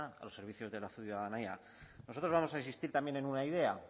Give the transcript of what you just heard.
a los servicios de la ciudadanía nosotros vamos a insistir también en una idea